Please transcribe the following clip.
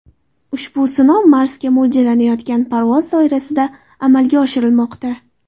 Ushbu sinov Marsga mo‘ljallanayotgan parvoz doirasida amalga oshirilmoqda.